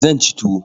Zan ci tuwo.